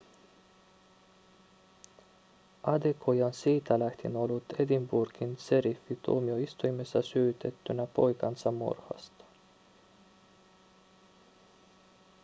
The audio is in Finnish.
adekoya on siitä lähtien ollut edinburghin šeriffintuomioistuimessa syytettynä poikansa murhasta